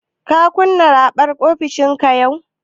Ka kunna raɓar ofishinka yau?